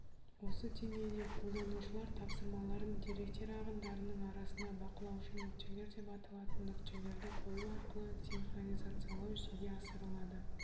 осы деңгейде қолданушылар тапсырмаларын деректер ағындарының арасына бақылаушы нүктелер деп аталатын нүктелерді қою арқылы синхронизациялау жүзеге асырылады